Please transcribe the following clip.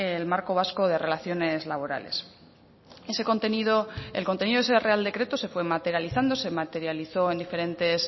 el marco vasco de relaciones laborales ese contenido el contenido de ese real decreto se fue materializando se materializó en diferentes